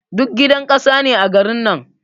Duk gidan ƙasa ne a garin nan.